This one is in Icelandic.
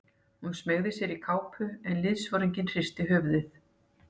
Hún smeygði sér í kápu en liðsforinginn hristi höfuðið.